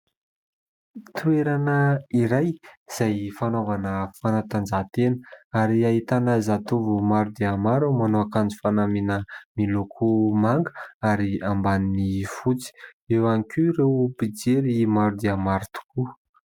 Toerana iray izay fanaovana fanatanjahantena ary ahitana zatovo maro dia maro manao akanjo fanamiana miloko manga ary ambaniny fotsy. Eo ihany koa ireo mpijery maro dia maro tokoa.